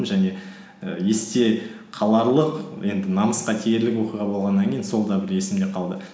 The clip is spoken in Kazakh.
және і есте қаларлық енді намысқа тиерлік оқиға болғаннан кейін сол да бір есімде қалды